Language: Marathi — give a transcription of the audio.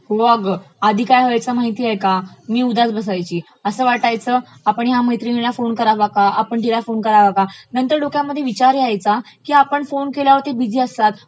हो अगं, आधी काय व्हायचं माहितेय का, मी उदास बसायची, असं वाटायचं आपण ह्या मैत्रिणीला फोन करावा का, आपण हिला फोन कारावा का? नंतर डोक्यामध्ये विचार यायचा की आपण फोन केल्यावरती बिझी असतात,